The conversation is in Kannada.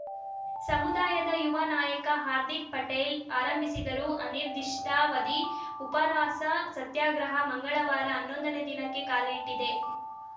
ಸಮುದಾಯದ ಯುವ ನಾಯಕ ಹಾರ್ದಿಕ್‌ ಪಟೇಲ್‌ ಆರಂಭಿಸಿರುವ ಅನಿರ್ದಿಷ್ಟಾವಧಿ ಉಪವಾಸ ಸತ್ಯಾಗ್ರಹ ಮಂಗಳವಾರ ಹನ್ನೊಂದನೇ ದಿನಕ್ಕೆ ಕಾಲಿಟ್ಟಿದೆ